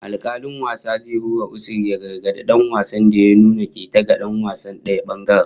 Alkalin wasan zai hura usur ya gargadi dan wasan da ya nuna keta ga dan wasan daya bangaren